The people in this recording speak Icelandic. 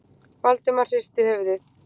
Valdimar hristi höfuðið.